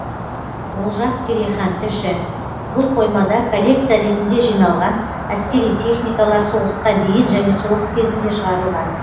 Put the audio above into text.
олжас керейхан тілші бұл қоймада коллекция ретінде жиналған әскери техникалар соғысқа дейін және соғыс кезінде шығарылған